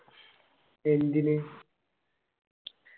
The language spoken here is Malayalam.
എന്തിനു